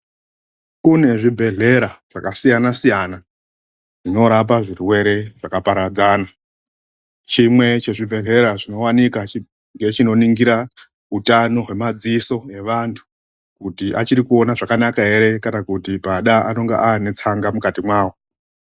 Kune zvibhedhlera zvakasiyana -siyana zvinorapa zvirwere zvakaparadzana, chimwe chezvibhedhlera zvinowanikwa ngechinoringira hutano hwemadziso evantu kuti achirikuona zvakanaka ere kana kuti pada anenge ane tsanga mukati mawo .